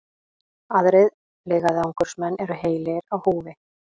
Aðrir leiðangursmenn eru heilir á húfi